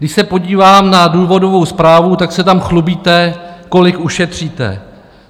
Když se podívám na důvodovou zprávu, tak se tam chlubíte, kolik ušetříte.